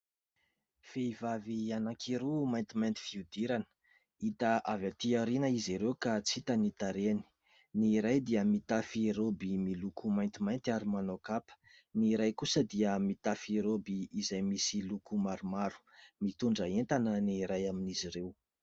Vehivavy anankiroa maintimanty fihodirana hita avy aty aoriana izy ireo ka tsy hita ny tarehiny. Ny iray dia mitafy roby miloko maintimainty ary manao kapa. Ny iray kosa dia mitafy roby izay misy loko maromaro mitondra entana ny iray amin'izy ireo.